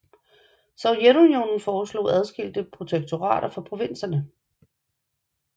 Sovjetunionen foreslog adskilte protektorater for provinserne